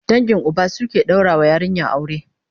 dangin Uba su suke ɗaura wa yarinya aure